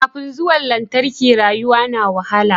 Kafin zuwan lantarki rayuwa na wahala